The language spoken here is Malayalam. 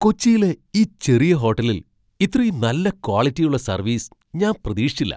കൊച്ചിയിലെ ഈ ചെറിയ ഹോട്ടലിൽ ഇത്രയും നല്ല ക്വാളിറ്റിയുള്ള സർവീസ് ഞാൻ പ്രതീക്ഷിച്ചില്ല!